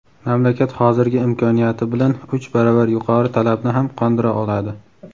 mamlakat hozirgi imkoniyati bilan uch baravar yuqori talabni ham qondira oladi.